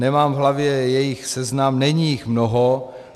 Nemám v hlavě jejich seznam, není jich mnoho.